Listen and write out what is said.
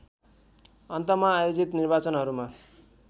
अन्तमा आयोजित निर्वाचनहरूमा